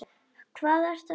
Hvað ertu að hugsa?